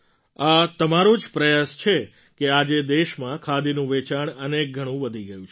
આ તમારો જ પ્રયાસ છે કે આજે દેશમાં ખાદીનું વેચાણ અનેક ગણું વધી ગયું છે